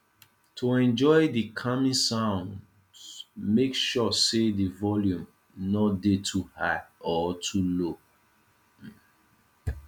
to enjoy di calming sounds make sure say di volume no de too high or too low